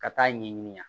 Ka taa ɲɛ ɲini